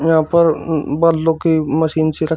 यहां पर उ उ बालों की मशीन सी र --